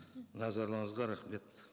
назарларыңызға рахмет